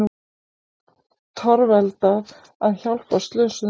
Torveldað að hjálpa slösuðum